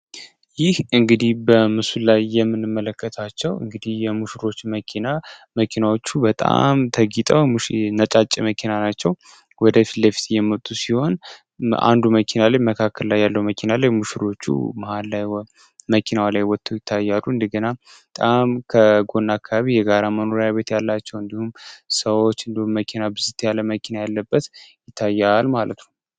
ይህ እንግዲህ በምስሉ ላይ የምንመለከታቸው እንግዲህ የሙሽሮች መኪና መኪናዎቹ በጣም ወደፊት ሲሆን በአንዱ መኪና መካከል ላይ ያለው መኪና የሙሽሮቹ መሃል ላይ መኪና ላይ ይታያሉ እንደገና ከጎና አካባቢ የጋራ መኖሪያ ቤት ያላቸው እንዲሁም ሰዎች ያለመኪና ያለበት ይታያል ማለት ነው።